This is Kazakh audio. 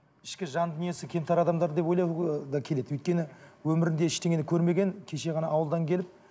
ішкі жан дүниесі кемтар адамдар деп ойлауға ы да келеді өйткені өмірінде ештеңені көрмеген кеше ғана ауылдан келіп